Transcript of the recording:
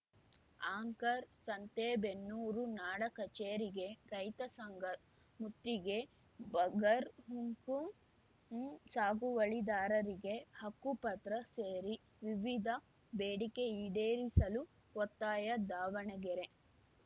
anchor Santebennur ನಾಡ ಕಚೇರಿಗೆ ರೈತ ಸಂಘ ಮುತ್ತಿಗೆ ಬಗರ್‌ಹುಕುಂ ಸಾಗುವಳಿದಾರರಿಗೆ ಹಕ್ಕುಪತ್ರ ಸೇರಿ ವಿವಿಧ ಬೇಡಿಕೆ ಈಡೇರಿಸಲು ಒತ್ತಾಯ ದಾವಣಗೆರೆ